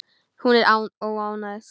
Hún er óánægð.